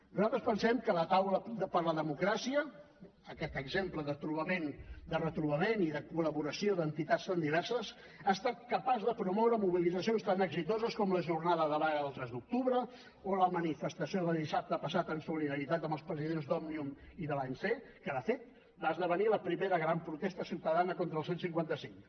nosaltres pensem que la taula per la democràcia aquest exemple de retrobament i de col·laboració d’entitats tan diverses ha estat capaç de promoure mobilitzacions tan exitoses com la jornada de vaga del tres d’octubre o la manifestació de dissabte passat en solidaritat amb els presidents d’òmnium i de l’anc que de fet va esdevenir la primera gran protesta ciutadana contra el cent i cinquanta cinc